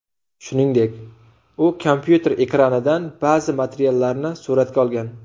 Shuningdek, u kompyuter ekranidan ba’zi materiallarni suratga olgan.